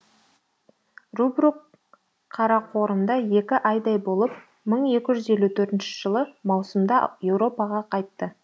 рубрук қарақорымда екі айдай болып мың екі жүз елу төртінші жылы маусымда еуропаға қайтты